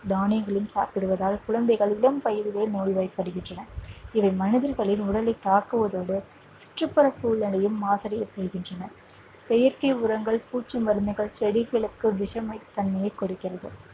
தானியங்களும் சாப்பிடுவதால் குழந்தைகள் இளம் வயதிலேயே நோய்வாய்படுகின்றனர் இவை மனிதர்களின் உடலை தாக்குவதோடு சுற்றுப்புற சூழலையும் மாசடைய செய்கின்றன செயற்கை உரங்கள் பூச்சி மருந்துகள் செடிகளுக்கு விஷமை தன்மையை கொடுக்கிறது